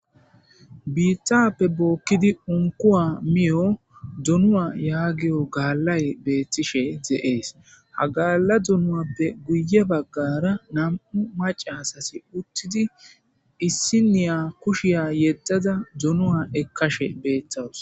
biittappe bookkidi unkuwa miyo dunu7a yaagiyo gaallay beethtishe xeees ha gaalla dunuappe guye baggara nam7u macasasi uttidi issi niya kushiya yeddada dunuwa ekkashe beetthawus